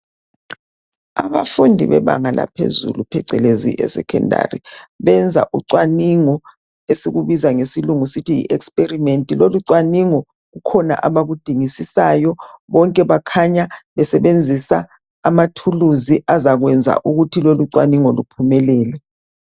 Abafundi bebanga laphezulu phecelezi eSekhondari benza ucwaningo esikubiza ngesilungu sithi yi"experiment".Le micwaningo kukhona abakudingisisayo, bonke bakhanya besebenzisa amathulusi azakwenza ukuthi lolucwaningo luphumelele.